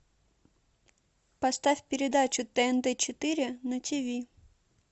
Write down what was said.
поставь передачу тнт четыре на тиви